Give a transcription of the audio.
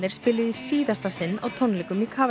spiluðu í síðasta sinn á tónleikum í